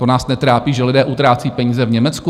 To nás netrápí, že lidé utrácí peníze v Německu?